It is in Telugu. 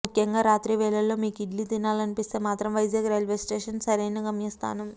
ముఖ్యంగా రాత్రి వేళల్లో మీకు ఇడ్లీ తినాలనిపిస్తే మాత్రం వైజాగ్ రైల్వే స్టేషన్ సరైన గమ్యస్థానం